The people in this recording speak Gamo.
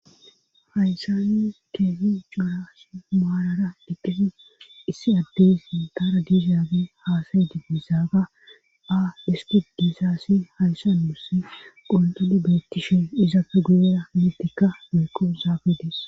hayssa nu keehipe cora asa maalara dhiqqen issi addeys indaara diishaabe haasayidi bizaaga a diski disaasi hayssan muse qoltoli beettishe izapfe gu'era miltikka meequ zaafidees